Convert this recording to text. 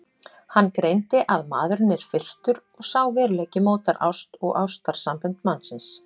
Hann greindi að maðurinn er firrtur og sá veruleiki mótar ást og ástarsambönd mannsins.